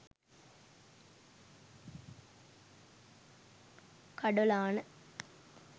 kadolana